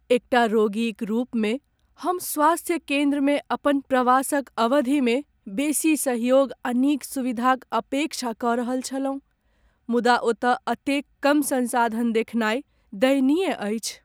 एकटा रोगीक रूपमे, हम स्वास्थ्य केंद्रमे अपन प्रवासक अवधिमे बेसी सहयोग आ नीक सुविधाक अपेक्षा कऽ रहल छलहुँ, मुदा ओतय एतेक कम संसाधन देखनाय दयनीय अछि।